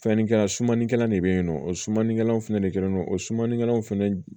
Fɛnninkɛla sumanikɛla de bɛ yen nɔ o sumanikɛlaw fɛnɛ de kɛlen don o sumanikɛlaw fana